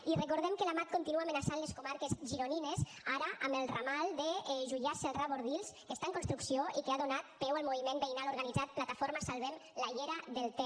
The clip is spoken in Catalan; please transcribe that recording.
i recordem que la mat continua amenaçant les comarques gironines ara amb el ramal de juià celrà bordils que està en construcció i que ha donat peu al moviment veïnal organitzat plataforma salvem la llera del ter